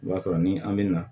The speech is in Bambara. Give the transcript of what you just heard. I b'a sɔrɔ ni an bɛ na